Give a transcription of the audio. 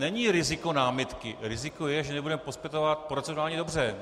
Není riziko námitky, riziko je, že nebudeme postupovat procedurálně dobře.